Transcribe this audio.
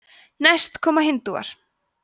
næst koma hindúar